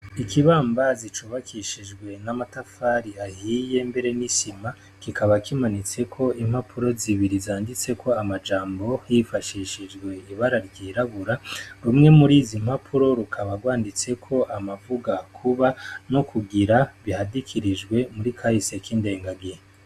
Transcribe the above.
Ikibambazi cubakishijwe n'amatafari ahiye mbere n'isima. Kikaba kimanitseko impapuro zibiri zanditseko amajambo hifashishijwe ibara ryirabura. Rumwe muri izi mpapuro rikaba rwanditseko amavuga kuba no kugira bihadikirijwe muri kahise k'indengagihe.